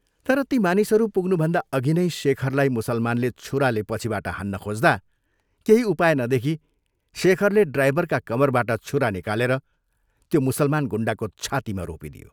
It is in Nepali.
तर ती मानिसहरू पुग्नुभन्दा अघि नै शेखरलाई मुसलमानले छुराले पछिबाट हान्न खोज्दा केही उपाय नदेखी शेखरले ड्राइभरका कमरबाट छुरा निकालेर त्यो मुसलमान गुण्डाको छातीमा रोपिदियो।